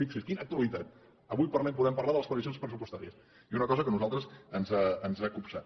fixi’s quina actualitat avui podem parlar de les previsions pressupostàries i una cosa que a nosaltres ens ha copsat